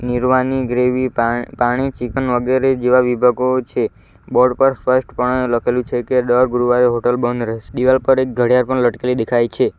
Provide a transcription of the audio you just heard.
નિરવાની gravy પા પાણી chicken વગેરે જેવા વિભાગો છે બોર્ડ પર સ્પષ્ટ પણે લખેલું છે કે દર ગુરુવારે હોટલ બંધ રહેસ દીવાલ પર એક ઘડિયાલ પણ લટકેલી દેખાય છે.